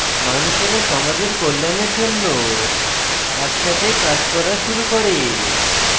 মানুষেরা সমাজের কল্যাণের জন্য একসাথে কাজ করা শুরু করে